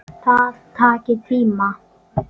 Það taki tíma.